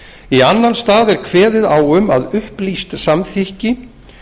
í annan stað er kveðið á um að upplýst samþykki